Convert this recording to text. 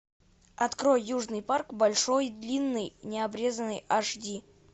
открой южный парк большой длинный необрезанный аш ди